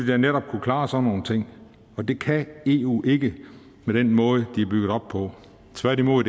da netop kunne klare sådan nogle ting men det kan eu ikke med den måde de er bygget op på tværtimod